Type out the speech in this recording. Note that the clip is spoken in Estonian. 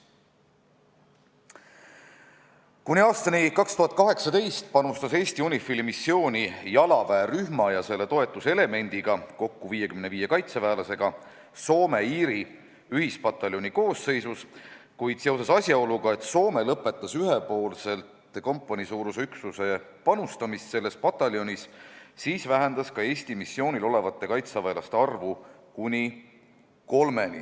Kuni aastani 2018 panustas Eesti UNIFIL-i missiooni jalaväerühma ja selle toetuselemendiga kokku 55 kaitseväelasega Soome-Iiri ühispataljoni koosseisus, kuid kuna Soome lõpetas ühepoolselt kompaniisuuruse üksuse panustamise selles pataljonis, siis vähendas ka Eesti missioonil olevate kaitseväelaste arvu kuni kolmeni.